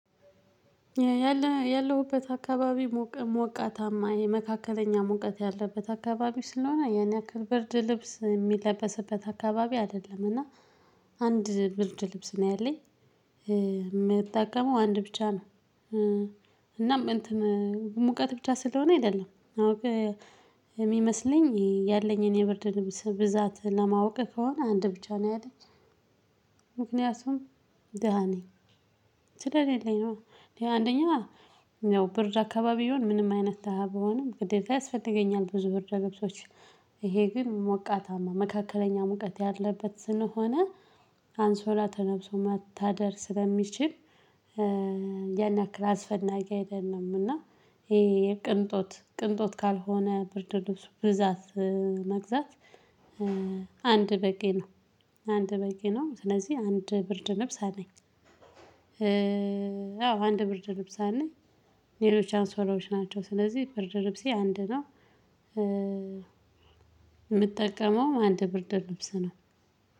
ያለሁበት አካባቢ ሙቅ ሞቃታማ የመካከለኛ ሙቀት ያለበት አከባቢ ስለሆነ ያን ያክል ብርድ ልብስ የሚለበስበት አካባቢ አይደለም እና አንድ ብርድልብስ ነው ያለኝ። የምጠቀመው አንድ ብቻ ነው። እናም እንትን ሙቀት ብቻ ስለሆነ አይደለም። አዎ የሚመስለኝ ያለኝ የኔ ብርድ ልብስ ብዛት ለማወቅ ከሆነ አንድ ብቻ ነው ያለኝ። ምክንያቱም ደሃ ነኝ ስለሌለኝ ነዋ እኔ አንደኛ ያው ብርድ አከባቢ ብሆን ምንም አይነት ደሃ ብሆንም ግዴታ ያስፈልገኛል ብዙ ብርድ ልብሶች ይሄ ግን ሞቃታማ መካከለኛ ሙቀት ያለበት ስለሆነ አንሶላ ተለብሶ መታደር ስለሚችል ያን ያክል አስፈላጊ አይደለም። እና ይሄ የቅንጦት ቅንጦት ካልሆነ ብርድ ልብስ ብዛት መግዛት አንድ በቂ ነው። አንድ በቂ ነው። ስለዚህ አንድ ብርድ ልብስ አለኝ። አዎ አንድ ብርድ ልብስ አለኝ። ሌሎች አንሶላዎች ናቸው። ስለዚህ ብርድ ልብሴ አንድ ነው። የምጠቀመው አንድ ብርድ ልብስ ነው።